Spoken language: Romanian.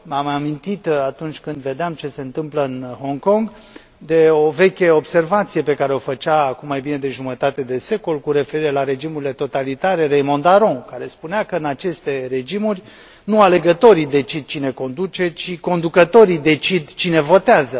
Am mai amintit, atunci când vedeam ce se întâmplă în Hong Kong, de o veche observație pe care o făcea cu mai bine de jumătate de secol, cu referire la regimurile totalitare Raymond Aron, care spunea că în aceste regimuri nu alegătorii decid cine conduce, ci conducătorii decid cine votează.